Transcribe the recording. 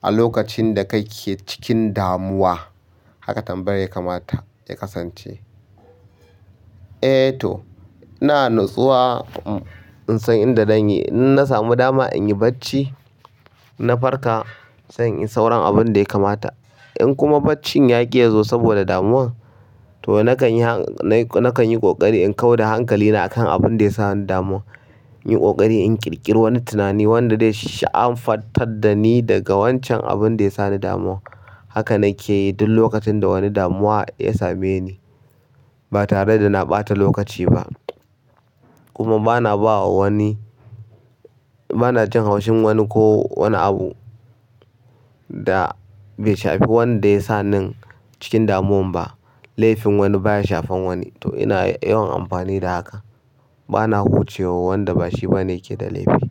a lokacin da kake cikin damuwa? Haka tambayar ya kamata ya kasance. Eh toh, ina natsuwa in san inda zan yi. In na samu dama in yi bacci, in na farka sai inyi sauran abunda ya kamata. In kuma baccin yaƙi yazo saboda damuwan, toh nakan yi, nakan yi ƙoƙari in kau da hankali na akan abunda yasa ni damuwan. In yi ƙoƙari in ƙirƙiri wani tunani wanda zai sha'anfantar dani daga wancan abunda ya sani damuwan. Haka na ke yi duk lokacin da wani damuwa ya same ni ba tare da na ɓata lokaci ba. Kuma ba na ba wa wani, ba na jin haushin wani ko wani abu da bai shafi wanda yasa nin cikin damuwan ba. Laifin wani baya shafan wani, toh ina yawan amfani da haka. Bana huce wa wanda bashi bane yake da laifi.